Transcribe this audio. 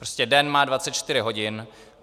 Prostě den má 24 hodin.